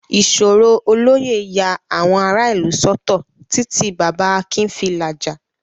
Ìṣòro olóyè ya àwọn ará ìlú sọ́tọ̀ títí Baba Akin fi làjà.